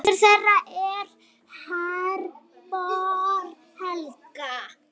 Dóttir þeirra er Herborg Helga.